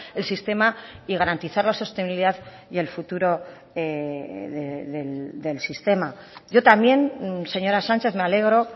el sistema y garantizar la sostenibilidad y el futuro del sistema yo también señora sánchez me alegro